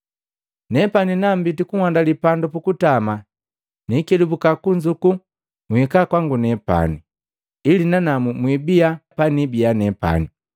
Nepani nambiti kuhandali pandu pukutama, nikelubuka kunzuku nhika kwangu nepani, ili nanamu mwibia paniibia nepani.